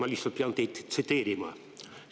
Ma lihtsalt pean teid tsiteerima.